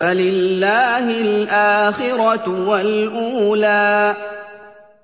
فَلِلَّهِ الْآخِرَةُ وَالْأُولَىٰ